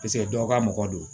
dɔw ka mɔgɔ do